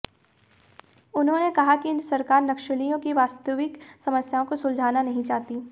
उन्होंने कहा कि सरकार नक्सलियों की वास्तविक समस्याओं को सुलझाना नहीं चाहती